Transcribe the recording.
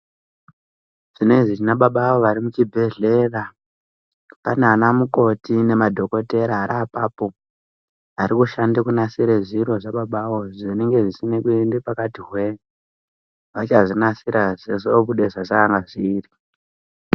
Zvinezvi tina baba avo vari muchibhedhlera. Pana anamukoti nemadhokodheya ari apooo ari kushande kunasire zviro zvababa avo zvinenge zvisina kuende pakati hwee. Vachazvinasirazve kuti zvoobuda sezvezvakanga zviri.